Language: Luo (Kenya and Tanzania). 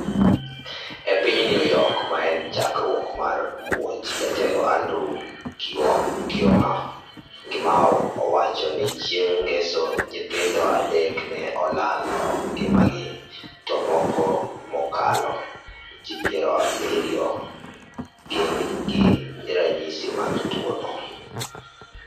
e piny New Work ma en chakruok mar muoch, jatelo Andrew Cuamo. owacho ni chieng' ngeso nyithindo adek ne olalo ngima gi to moko mokalo. ji piero abirio gin gi ranyisi mar tuwo no.